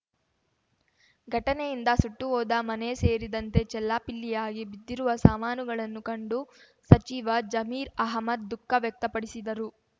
ಘಟನೆಯಿಂದ ಸುಟ್ಟು ಹೋದ ಮನೆ ಸೇರಿದಂತೆ ಚೆಲ್ಲಾಪಿಲ್ಲಿಯಾಗಿ ಬಿದ್ದಿರುವ ಸಾಮಾನುಗಳನ್ನು ಕಂಡು ಸಚಿವ ಜಮೀರ್ ಅಹ್ಮದ್ ದುಖಃ ವ್ಯಕ್ತಪಡಿಸಿದರು